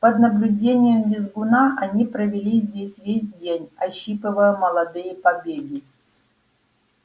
под наблюдением визгуна они провели здесь весь день ощипывая молодые побеги